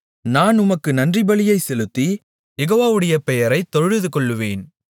நான் உமக்கு நன்றிபலியைச் செலுத்தி யெகோவாவுடைய பெயரைத் தொழுதுகொள்ளுவேன்